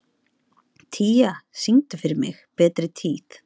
Tía, syngdu fyrir mig „Betri tíð“.